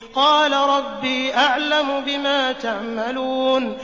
قَالَ رَبِّي أَعْلَمُ بِمَا تَعْمَلُونَ